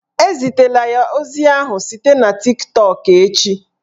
Ezitela ozi ahụ site na Tiktọk echi!